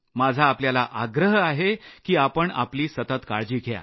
माझा आपल्याला आग्रह आहे की आपण आपली सतत काळजी घ्या